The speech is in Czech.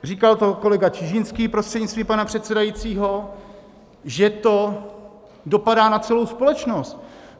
Říkal to kolega Čižinský, prostřednictvím pana předsedajícího, že to dopadá na celou společnost.